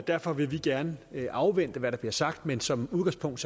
derfor vil vi gerne afvente hvad der bliver sagt men som udgangspunkt